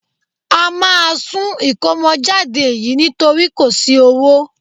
A máa sún ìkómọjáde yìí nítorí kò sí owó